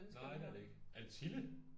Nej det er det ikke er det Tille